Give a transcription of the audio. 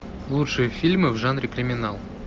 лучшие фильмы в жанре криминал